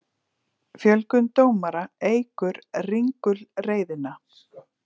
Fjölgun dómara eykur ringulreiðina